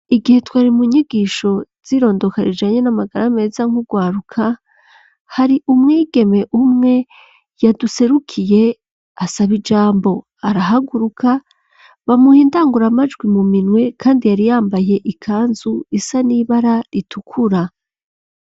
Igihe twari mu nyigisho z'irondoka rijanye n'amagara meza nk'urwaruka, har'umwigeme umwe yaduserukiye asaba ijambo, arahaguruka, bamuha indanguramajwi mu minwe, kandi yari yambaye ikanzu isa n'ibara ritukura.